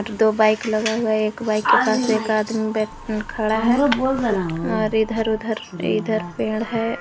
दो बाइक लगा हुआ है एक बाइक के पास में एक आदमी बै खड़ा हुआ है और इधर उधर इधर पेड़ है।